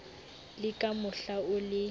le ka mohla o le